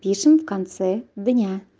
пишем в конце дня